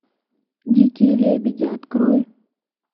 дикие лебеди открой